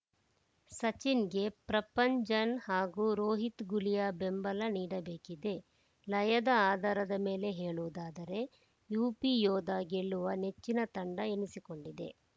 ಸಚಿನ್‌ಗೆ ಪ್ರಪಂಜನ್‌ ಹಾಗೂ ರೋಹಿತ್‌ ಗುಲಿಯಾ ಬೆಂಬಲ ನೀಡಬೇಕಿದೆ ಲಯದ ಆಧಾರದ ಮೇಲೆ ಹೇಳುವುದಾದರೆ ಯುಪಿಯೋಧಾ ಗೆಲ್ಲುವ ನೆಚ್ಚಿನ ತಂಡ ಎನಿಸಿಕೊಂಡಿದೆ